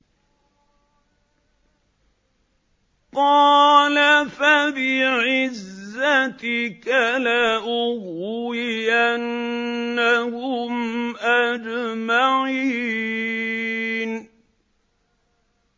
قَالَ فَبِعِزَّتِكَ لَأُغْوِيَنَّهُمْ أَجْمَعِينَ